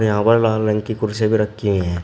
यहां पर लाल रंग की कुर्सी भी रखी है।